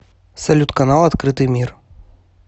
салют канал открытый мир